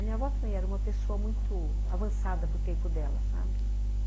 A minha avó também era uma pessoa muito avançada para o tempo dela, sabe?